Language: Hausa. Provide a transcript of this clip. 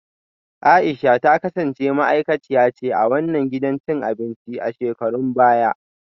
A’isha ta kasance ma’aikaciya ce a wannan gidan cin abinci a shekarun baya